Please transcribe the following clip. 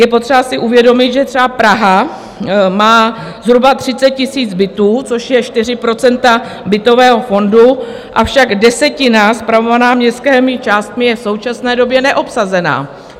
Je potřeba si uvědomit, že třeba Praha má zhruba 30 000 bytů, což jsou 4 % bytového fondu, avšak desetina spravovaná městskými částmi je v současné době neobsazená.